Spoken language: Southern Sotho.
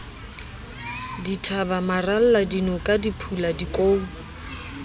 dithaba maralla dinoka diphula dikou